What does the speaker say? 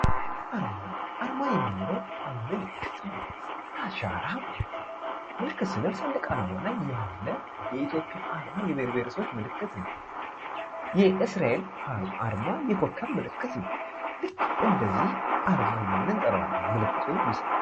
አርማ አርማ የሚለው ምልክት ማለት ነው። አሻራ ማለት ነው። ምልክት ስንል ሰንደቅ ዓላማ ላይ ያለ የብሄር ብሄረሰቦች ምልክት ነው። የእስራኤል አርማ የክከብ ምልክት ነው። ይህም አርማ እያንጠራዋለን።